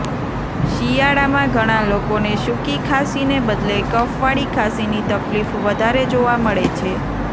શિયાળામાં ઘણા લોકોને સૂકી ખાંસીને બદલે કફવાળી ખાંસીની તકલીફ વધારે જોવા મળે છે